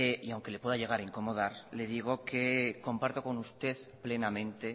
y aunque le pueda llegar a incomodar le digo que comparto con usted plenamente